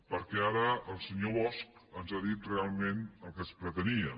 perquè ara el senyor bosch ens ha dit realment el que es pretenia